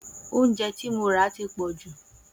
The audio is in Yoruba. Oúnjẹ tí mo ra ti pọ̀jù